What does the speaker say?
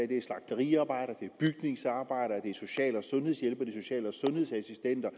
det slagteriarbejdere det er bygningsarbejdere det er social og sundhedshjælpere det er social og sundhedsassistenter